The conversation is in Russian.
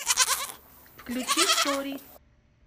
включи сори